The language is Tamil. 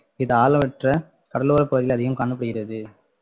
இது ஆழமற்ற கடலோர பகுதிகளில் காணப்படுகிறது